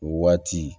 O waati